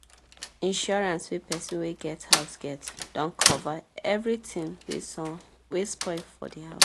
insurance wey person wey get house get don cover everything wey spoil for the house